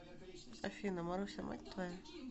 афина маруся мать твоя